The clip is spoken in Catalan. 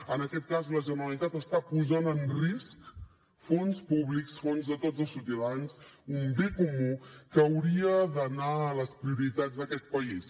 en aquest cas la generalitat està posant en risc fons públics fons de tots els ciutadans un bé comú que hauria d’anar a les prioritats d’aquest país